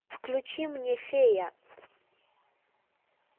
включи мне фея